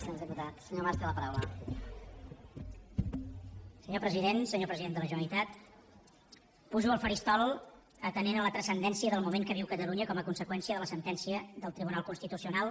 senyor president senyor president de la generalitat pujo al faristol atenent la transcendència del moment que viu catalunya com a conseqüència de la sentència del tribunal constitucional